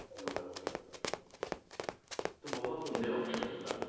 ਤੇ ਬਹੁਤ ਹੁੰਦੇ ਆ options ਉਹਨਾਂ ਕੋਲ